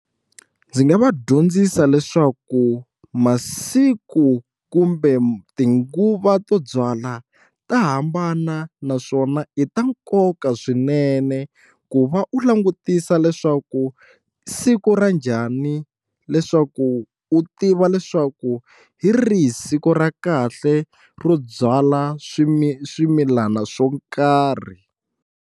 Ndzi nga va dyondzisa leswaku masiku kumbe tinguva to byala ta hambana naswona i ta nkoka swinene ku va u langutisa leswaku siku ra njhani leswaku u tiva leswaku hi rihi siku ra kahle ro byala swimilana swo karhi.